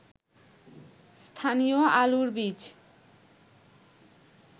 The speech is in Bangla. স্থানীয় আলুর বীজ